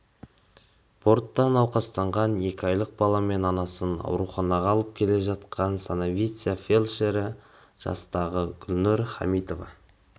бортта науқастанған екі айлық баламен анасын ауруханаға алып келе жатқан санавиция фельдшері жастағы гүлнұр хамитова